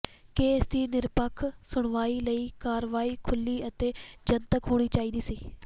case ਦੀ ਨਿਰਪੱਖ ਸੁਣਵਾਈ ਲਈ ਕਾਰਵਾਈ ਖੁੱਲ੍ਹੀ ਅਤੇ ਜਨਤਕ ਹੋਣੀ ਚਾਹੀਦੀ ਸੀ